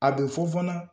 A bɛ fɔ fana